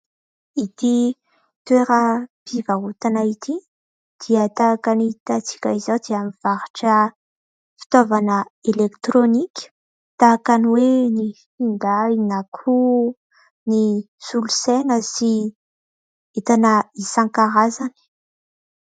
Ity toeram-pivarotana ity dia tahaka ny hitantsika izao dia mivarotra fitaovana elektrônika. Tahaka ny hoe : ny finday, na koa ny solosaina, sy entana isan-karazany.